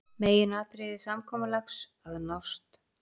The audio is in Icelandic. Meginatriði samkomulags að nást